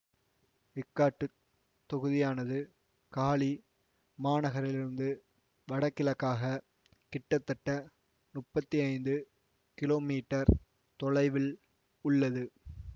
இக்காட்டுத் தொகுதியானது காலி மாநகரிலிருந்து வடகிழக்காக கிட்டத்தட்ட முப்பத்தி ஐந்து கிலோமீட்டர் தொலைவில் உள்ளது